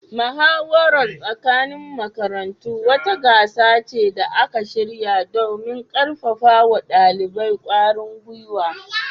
Muhawarar tsakanin makarantu wata gasa ce da aka shirya domin karfafa wa dalibai kwarin gwiwa